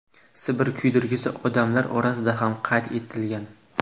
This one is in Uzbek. Sibir kuydirgisi odamlar orasida ham qayd etilgan.